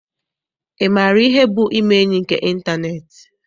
Ị maara ihe bụ ime enyi nke ịntaneetị?